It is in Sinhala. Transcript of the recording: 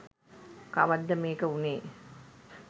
කවද්ද මේක වුණේ